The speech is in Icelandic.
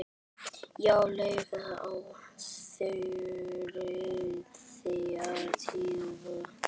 Já, líklega á þriðja tíma.